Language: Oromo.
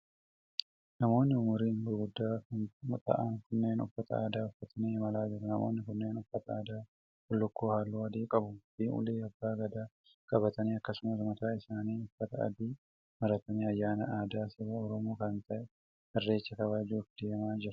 Namoonni umuriin guguddaa ta'an kunneen uffata aadaa uffatanii imalaa jiru. Namoonni kunneen uffata aadaa bullukkoo haalluu adii qabu fi ulee abbaa gadaa qabatanii akkasumas mataa isaanitti uffata aadaa maratanii ayyaanaa aadaa saba Oromoo kan ta'e irreecha kabajuuf deemaa jiru.